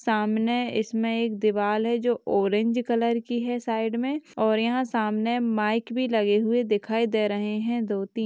सामने इसमें एक दीवार है जो ऑरेंज कलर की है साइड में और यहां सामने माइक भी लगे हुए दिखाई दे रहे हैं दो-ती--